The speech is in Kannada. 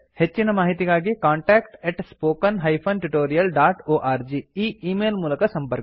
ಹೆಚ್ಚಿನ ಮಾಹಿತಿಗಾಗಿ contactspoken tutorialorg e email ಮೂಲಕ ಸಂಪರ್ಕಿಸಿ